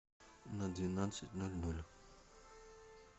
на двенадцать ноль ноль